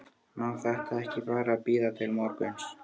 má þetta ekki bara bíða til morguns?